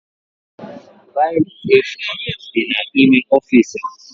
Biro efu dị n'ime ọfiisi m